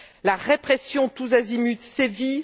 La répression tous azimuts sévit.